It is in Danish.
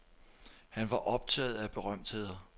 Han var optaget af berømtheder.